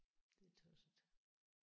Det er tosset